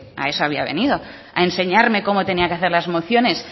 a eso había venido a enseñarme cómo tenía que hacer las mociones